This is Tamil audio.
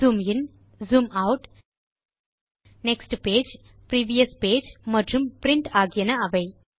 zoom in zoom out next page previous page மற்றும் பிரின்ட் ஆகியன அவை